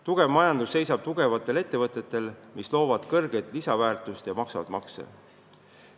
Tugev majandus seisab tugevatel ettevõtetel, mis loovad suurt lisandväärtust ja maksavad makse.